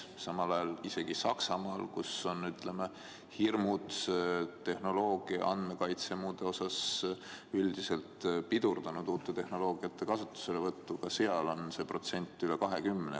Samal ajal isegi Saksamaal, kus hirm tehnoloogia, andmekaitse ja muu vallas on üldiselt pidurdanud uute tehnoloogiate kasutuselevõttu, on see protsent üle 20.